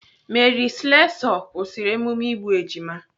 Mary Slessor kwụsịrị emume igbu ejima.